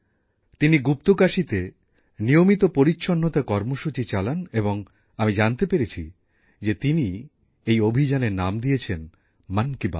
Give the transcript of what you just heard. তিনি গুপ্তকাশীতে নিয়মিত পরিচ্ছন্নতার কর্মসূচি চালান এবং আমি জানতে পেরেছি যে তিনি এই অভিযানের নাম দিয়েছেন মন কি বাত